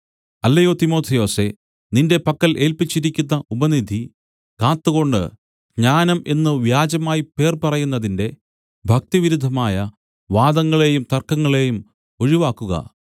അല്ലയോ തിമൊഥെയൊസേ നിന്റെ പക്കൽ ഏല്പിച്ചിരിക്കുന്ന ഉപനിധി കാത്തുകൊണ്ട് ജ്ഞാനം എന്നു വ്യാജമായി പേർ പറയുന്നതിന്റെ ഭക്തിവിരുദ്ധമായ വാദങ്ങളേയും തർക്കങ്ങളെയും ഒഴിവാക്കുക